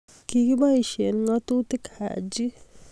Kikiboisie ngatutik Haji.